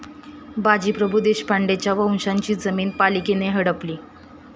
बाजीप्रभू देशपांडेंच्या वंशजाची जमिनी पालिकेनं हडपली?